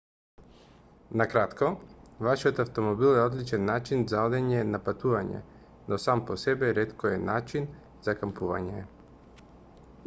на кратко вашиот автомобил е одличен начин за одење на патување но сам по себе ретко е начин за кампување